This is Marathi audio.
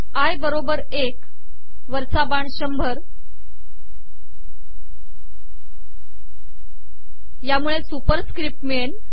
आय बरोबर एक वरचा बाण शंभर यामुळे सुपरिसकपट िमळेल